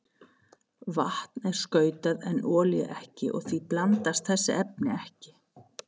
Vatn er skautað en olía ekki og því blandast þessi efni ekki.